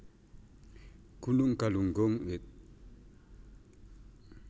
Gunung Galunggung id